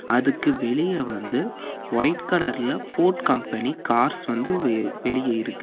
அதுக்கு வெளிய வந்து ஒயிட் கலர்ல ஃபோர்ட் கம்பெனி கார்ஸ் வந்து வெளியே இருக்கு.